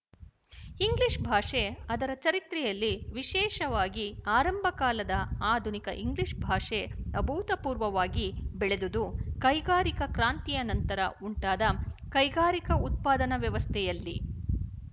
English ಭಾಷೆ ಅದರ ಚರಿತ್ರೆಯಲ್ಲಿ ವಿಶೇಷವಾಗಿ ಆರಂಭಕಾಲದ ಆಧುನಿಕ ಇಂಗ್ಲಿಶ ಭಾಷೆ ಅಭೂತಪೂರ್ವವಾಗಿ ಬೆಳೆದುದು ಕೈಗಾರಿಕಾ ಕ್ರಾಂತಿಯ ನಂತರ ಉಂಟಾದ ಕೈಗಾರಿಕಾ ಉತ್ಪಾದನಾ ವ್ಯವಸ್ಥೆಯಲ್ಲಿ